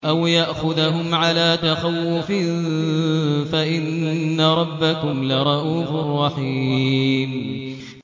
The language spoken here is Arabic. أَوْ يَأْخُذَهُمْ عَلَىٰ تَخَوُّفٍ فَإِنَّ رَبَّكُمْ لَرَءُوفٌ رَّحِيمٌ